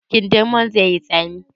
Kindirmon zai yi tsami?